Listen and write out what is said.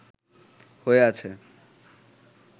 হয়ে আছে